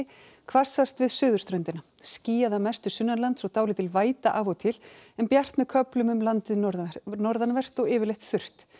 hvassast við suðurströndina skýjað að mestu sunnanlands og dálítil væta af og til en bjart með köflum um landið norðanvert norðanvert og yfirleitt þurrt